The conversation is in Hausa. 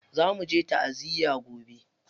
Za muje ta'aziya gobe.